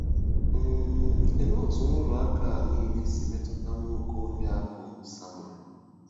um Olee otú nrụrụ aka a nile si metụta nwa okorobịa bụ́ Samuel?